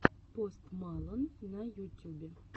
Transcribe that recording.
пост малон на ютюбе